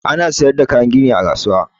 Ana siyar da kayan gini a kasuwa.